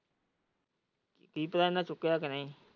ਕੀ ਪਤਾ ਇਹਨਾਂ ਚੁੱਕੀਆ ਕੇ ਨਹੀਂ।